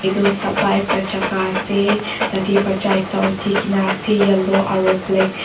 etu safa ekta jaga ase tate baccha ekta uthi ke na ase yellow aru black --